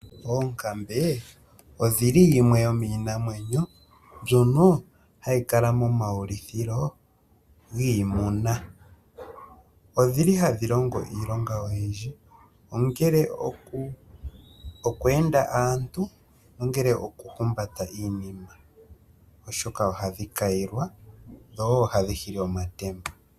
Oonkambe odhili yimwe yomiinamwenyo mbyono hayi kala moma wulithilo giimuna odhili hadhi longo iilonga oyindji ongele oku enda aantu ongele okuhumbata iinima oshoka ohadhi kayilwa dho ohadhi hili omatemba.